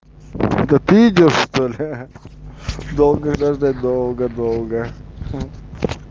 это ты идёшь что ли долго ждать долго долго